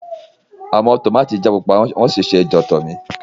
Awọn tomati jẹ pupa won si se jotomi.